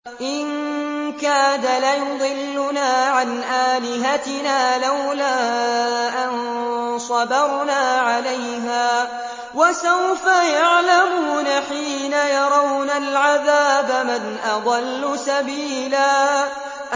إِن كَادَ لَيُضِلُّنَا عَنْ آلِهَتِنَا لَوْلَا أَن صَبَرْنَا عَلَيْهَا ۚ وَسَوْفَ يَعْلَمُونَ حِينَ يَرَوْنَ الْعَذَابَ مَنْ أَضَلُّ سَبِيلًا